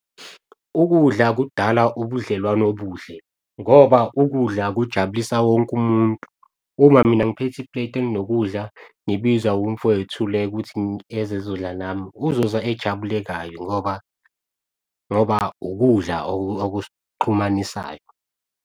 Ukudla kudala ubudlelwano obuhle, ngoba ukudla kujabulisa wonke umuntu. Uma mina ngiphethe ipleti elinokudla, ngibiza umfwethu le ukuthi eze ezodla nami uzoza ejabule kabi ngoba ukudla okus'xhumanisayo.